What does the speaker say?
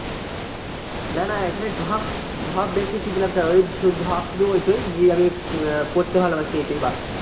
না না এখানে ঢপ, ঢপ বেশি কি দিলাম তাই ঢপ শুধু ওইটাই যে আমি পড়তে ভালোবাসি ওইটাই ব্যাস।